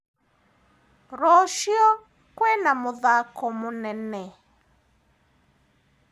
Rũciũ kwina mũthako mũnene?